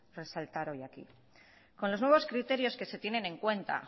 resaltar hoy aquí con los nuevos criterios que se tienen en cuenta